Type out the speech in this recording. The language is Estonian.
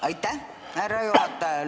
Aitäh, härra juhataja!